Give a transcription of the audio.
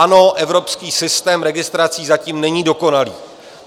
Ano, evropský systém registrací zatím není dokonalý.